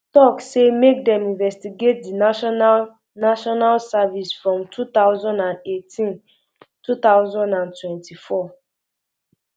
tok say make dem investigate di national national service from two thousand and eighteen two thousand and twenty-four um